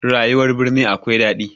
Rayuwar birni akwai daɗi